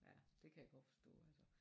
Det kan jeg godt forstå altså